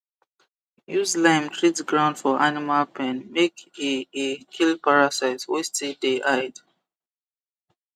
use lime treat ground for animal pen make e e kill parasites wey still dey hide